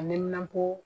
A niminapo